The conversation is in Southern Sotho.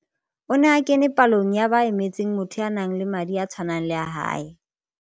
O ne a kene palong ya ba emetseng motho ya nang le madi a tshwanang le a hae.